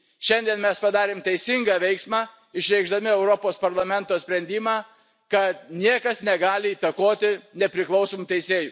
Šiandien mes padarėm teisingą veiksmą išreikšdami Europos Parlamento sprendimą, kad niekas negali įtakoti nepriklausomų teisėjų.